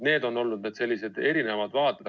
Need on olnud sellised erinevad vaated.